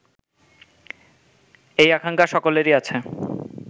এই আকাঙ্খা সকলেরই আছে